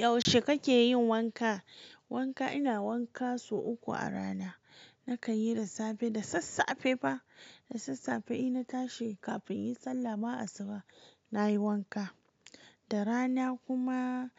Yaushe kakeyin wanka? Wanka ina wanka sau uku a rana. Na kanyi da safe, da sassafe ba, da sassafe inna tashi kafin inyi sallah ma asuba nayi wanka. Da rana kuma